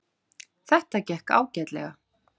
Þetta gekk ágætlega.